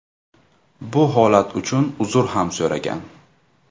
Bu holat uchun uzr ham so‘ragan.